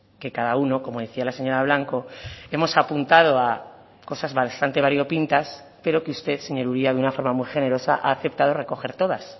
que cada uno como decía la señora blanco hemos apuntado a cosas bastante variopintas pero que usted señor uria de una forma muy generosa ha aceptado recoger todas